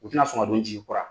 U tɛ na sɔn ka don n jigikɔrɔ wa.